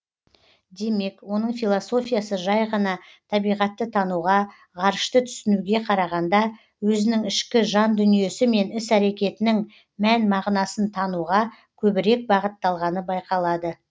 демек оның философиясы жай ғана табиғатты тануға ғарышты түсінуге қарағанда өзінің ішкі жан дүниесі мен іс әрекетінің мән мағынасын тануға көбірек бағытталғаны байқалады